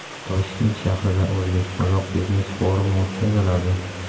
Toshkent shahrida o‘zbek-qozoq biznes-forumi o‘tkaziladi.